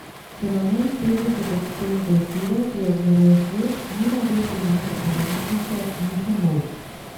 Fenomen Petdeset odtenkov sive, ki je obnorel svet, ni navdušil naše televizijke Miše Molk.